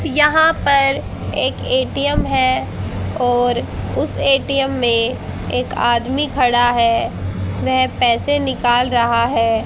यहां पर एक ए_टी_एम है और उस ए_टी_एम में एक आदमी खड़ा है वह पैसे निकाल रहा है।